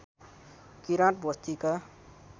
किराँत बस्तीका